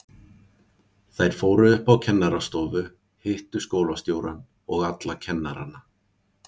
Þær fóru upp á kennarastofu, hittu skólastjórann og alla kennarana.